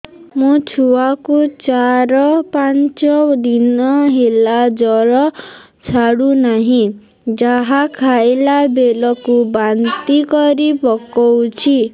ମୋ ଛୁଆ କୁ ଚାର ପାଞ୍ଚ ଦିନ ହେଲା ଜର ଛାଡୁ ନାହିଁ ଯାହା ଖାଇଲା ବେଳକୁ ବାନ୍ତି କରି ପକଉଛି